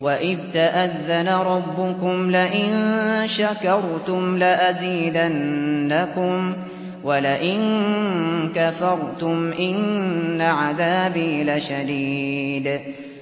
وَإِذْ تَأَذَّنَ رَبُّكُمْ لَئِن شَكَرْتُمْ لَأَزِيدَنَّكُمْ ۖ وَلَئِن كَفَرْتُمْ إِنَّ عَذَابِي لَشَدِيدٌ